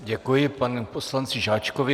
Děkuji panu poslanci Žáčkovi.